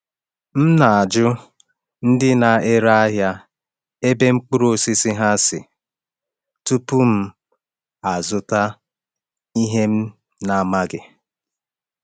M na-ajụ ndị na-ere ahịa ebe mkpụrụ osisi ha si tupu m azụta ihe m na-amaghị.